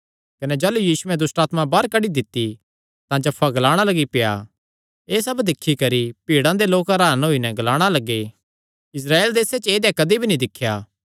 कने जाह़लू यीशुयैं दुष्टआत्मा बाहर कड्डी दित्ती तां जफ्फा ग्लाणा लग्गी पेआ एह़ सब दिक्खी करी भीड़ा दे लोक हरान होई नैं ग्लाणा लग्गे इस्राएल देसे च ऐदेया कदी भी नीं दिख्या